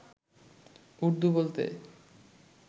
উর্দু বলতে